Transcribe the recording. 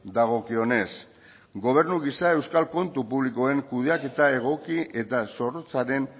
dagokionez gobernu gisa euskal kontu publikoen kudeaketa egoki eta zorrotzaren